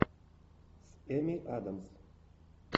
с эми адамс